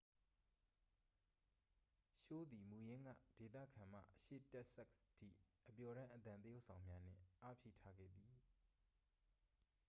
ရှိုးသည် မူရင်းက ဒေသခံမှ အရှေ့တက်ဆက်စ်ထိ အပျော်တမ်းအသံသရုပ်ဆောင်များနှင့် အားဖြည့်ထားခဲ့သည်